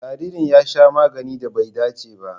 Jaririn ya sha maganin da bai dace ba.